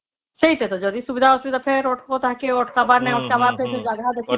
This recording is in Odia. ସେଇ କଥା ତ ଯଦି ସୁବିଧା ଅସୁବିଧା ଫେର ଅଟକେଇବା ତାହାକେ ଅଟକାଵ ନାହିଁ ଅଟକାଵ ପାଇଁ ଫେର ଜାଗା ବି ଦେଖିବା